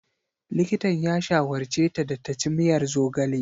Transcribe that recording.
Likitan ya shawarce ta da ta ci miyar zogale.